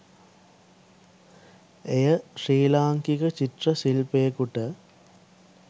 එය ශ්‍රී ලාංකික චිත්‍ර ශිල්පියකුට